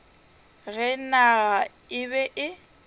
ge naga e be e